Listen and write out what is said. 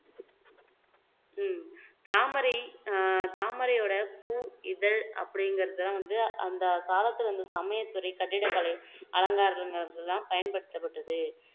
உம் தாமரை அஹ் தாமரையோட பூ இதழ் அப்படிங்கிறது வந்து அந்த காலத்துல சமயத்துறை கட்டிடக்கலை அலங்காரங்கள்ல எல்லாம் பயன்படுத்த்ப்பட்டது